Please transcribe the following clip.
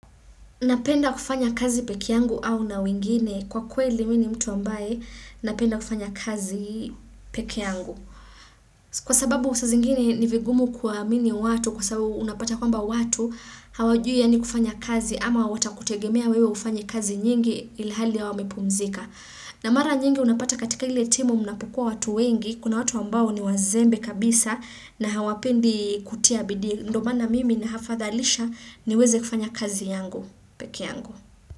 Napenda kufanya kazi peke yangu au na wengine kwa kweli mi ni mtu ambaye napenda kufanya kazi peke yangu. Kwa sababu saa zingine ni vigumu kuwaamini watu kwa sababu unapata kwamba watu hawajui yaani kufanya kazi ama watakutegemea wewe ufanye kazi nyingi ilhali hao wamepumzika. Na mara nyingi unapata katika ile timu mnapokua watu wengi kuna watu ambao ni wazembe kabisa na hawapendi kutia bidii. Ndo maana mimi nahafadhalisha niweze kufanya kazi yangu. Peke yangu.